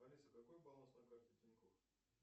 алиса какой баланс на карте тинькофф